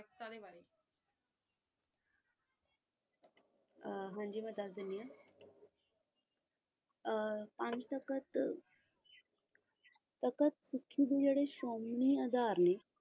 ਹਾਂ ਜੀ ਮੈਂ ਤੈਨੂੰ ਦੱਸ ਦਿੰਦੀਆਂ ਪੰਜ ਤਖਤ ਤਖ਼ਤ ਜਿਹੜੇ ਸ਼੍ਰੋਮਣੀ ਅਧਾਰ ਨੇ